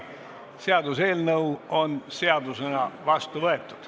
Eelnõu on seadusena vastu võetud.